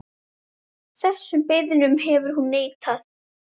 Þessum beiðnum hefur hún neitað.